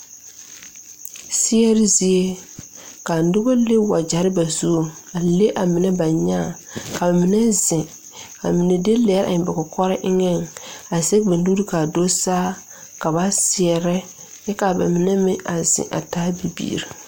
Seɛre zie ka nobɔ le wagyɛrre ba zuŋ a le a mine ba nyaa ka ba mine zeŋ ka mine de lɛɛ eŋ ba kɔkɔre eŋɛŋ a zege ba nuure kaa do saa ka ba seɛrɛ kyɛ kaa ba mine meŋ a zeŋ a taa bibiire.